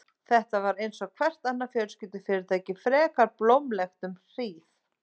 Þetta var bara einsog hvert annað fjölskyldufyrirtæki, frekar blómlegt um hríð.